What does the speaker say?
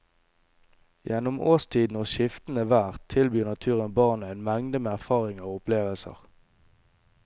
Gjennom årstiden og skiftende vær tilbyr naturen barna en mengde med erfaringer og opplevelser.